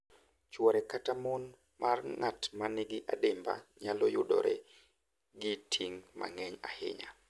Chwore kata mon mar ng’at ma nigi adimba nyalo yudore gi ting’ mang’eny ahinya